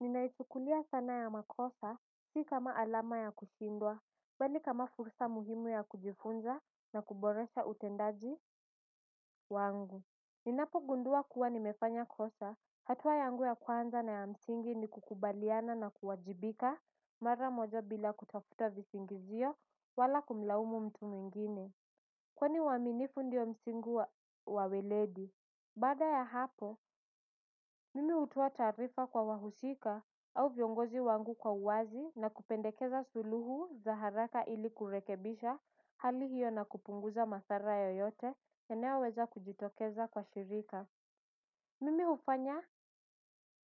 Ninaichukulia sana ya makosa, sii kama alama ya kushindwa, bali kama fursa muhimu ya kujifunza na kuboresha utendaji wangu. Ninapo gundua kuwa nimefanya kosa, hatua yangu ya kwanza na ya msingi ni kukubaliana na kuwajibika mara moja bila kutafuta visingizio wala kumlaumu mtu mwingine. Kwani waaminifu ndiyo msingi wa weledi. Baada ya hapo, mimi hutoa taarifa kwa wahusika au viongozi wangu kwa uwazi na kupendekeza suluhu za haraka ili kurekebisha hali hiyo na kupunguza madhara yoyote yanayoweza kujitokeza kwa shirika. Mimi hufanya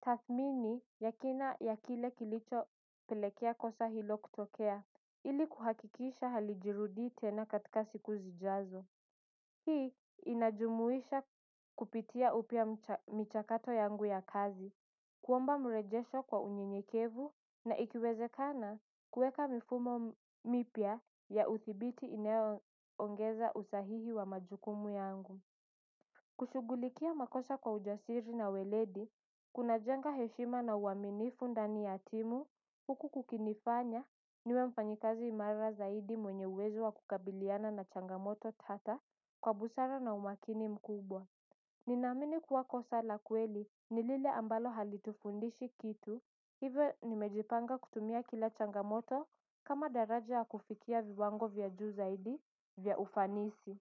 tathmini ya kina ya kile kilicho pelekea kosa hilo kutokea ili kuhakikisha halijirudi tena katika siku zijazo. Hii inajumuisha kupitia upya michakato yangu ya kazi, kuomba mrejesho kwa unyenyekevu na ikiwezekana kuweka mifumo mipya ya udhibiti inayo ongeza usahihi wa majukumu yangu. Kushughulikia makosa kwa ujasiri na weledi, kunajenga heshima na uaminifu ndani ya timu, huku kukinifanya, niwe mfanyikazi imara zaidi mwenye uwezo wa kukabiliana na changamoto tata kwa busara na umakini mkubwa. Ninaamini kuwa kosa la kweli ni lile ambalo halitufundishi kitu, hivyo nimejipanga kutumia kila changamoto kama daraja ya kufikia viwango vya juu zaidi vya ufanisi.